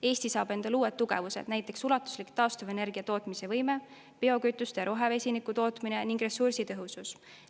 Eesti saab endale uued tugevused, näiteks ulatuslik taastuvenergia tootmise võime, biokütuste ja rohevesiniku tootmine ning ressursitõhusus.